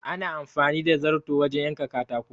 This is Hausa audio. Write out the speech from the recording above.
Ana amfani da zarto wajen yanka katako.